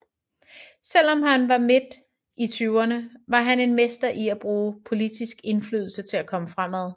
Selv om han var mid i tyverne var han en mester i at bruge politisk indflydelse til at komme fremad